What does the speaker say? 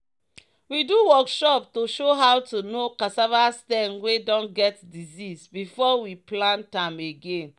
"we do workshop to show how to know cassava stem wey don get disease before we plant am again."